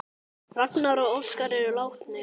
Ragnar og Óskar eru látnir.